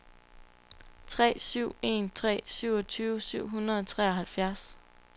tre syv en tre syvogtyve syv hundrede og treoghalvfjerds